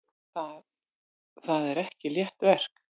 Það er ekki létt verk.